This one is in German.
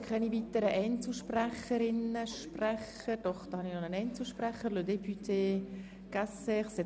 Damit kommen wir zu den Einzelsprecherinnen und -sprechern.